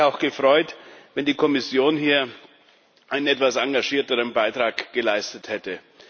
Ich hätte mich auch gefreut, wenn die Kommission hier einen etwas engagierteren Beitrag geleistet hätte.